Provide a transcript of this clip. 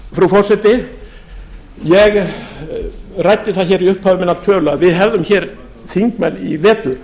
forseti ég ræddi það hér í upphafi minnar tölu að við hefðum hér þingmenn í vetur